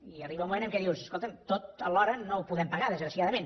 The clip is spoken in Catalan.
i arriba un moment en què dius escolta’m tot alhora no ho podem pagar desgraciadament